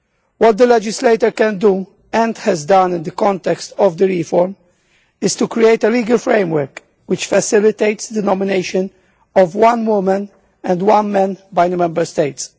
What the legislator can do and has done in the context of the reform is to create a legal framework which facilitates the nomination of one woman and one man by the Member States.